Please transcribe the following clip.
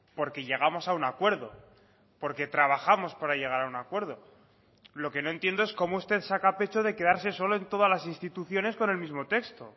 porque llegamos a un acuerdo porque trabajamos para llegar a un acuerdo lo que no entiendo es cómo usted saca pecho de quedarse solo en todas las instituciones con el mismo texto